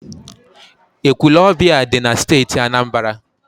Ekwulọọbịa dị na Steeti Anambra.